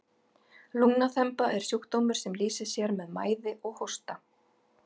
lungnaþemba er sjúkdómur sem lýsir sér með mæði og hósta